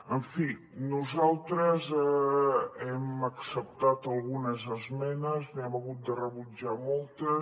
en fi nosaltres hem acceptat algunes esmenes n’hem hagut de rebutjar moltes